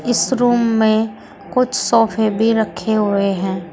इस रूम में कुछ सोफे भी रखे हुए है।